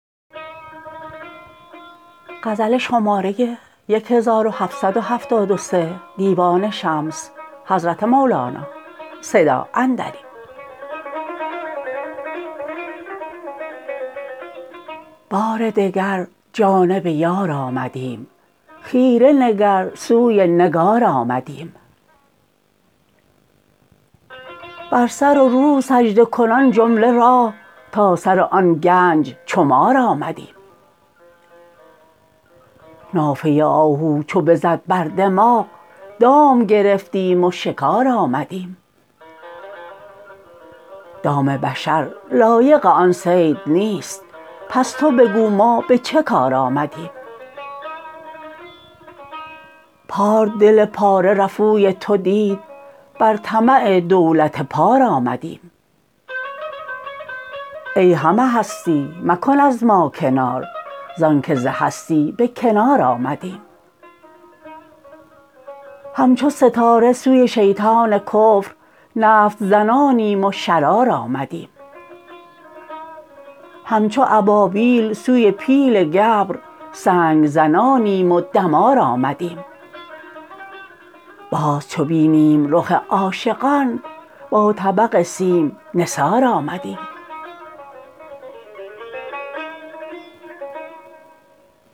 بار دگر جانب یار آمدیم خیره نگر سوی نگار آمدیم بر سر و رو سجده کنان جمله راه تا سر آن گنج چو مار آمدیم نافه آهو چو بزد بر دماغ دام گرفتیم و شکار آمدیم دام بشر لایق آن صید نیست پس تو بگو ما به چه کار آمدیم پار دل پاره رفوی تو دید بر طمع دولت پار آمدیم ای همه هستی مکن از ما کنار زانکه ز هستی به کنار آمدیم همچو ستاره سوی شیطان کفر نفط زنانیم و شرار آمدیم همچو ابابیل سوی پیل گبر سنگ زنانیم و دمار آمدیم باز چو بینیم رخ عاشقان با طبق سیم نثار آمدیم